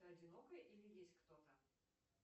ты одинокая или есть кто то